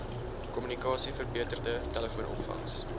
kommunikasie verbeterde telefoonopvangs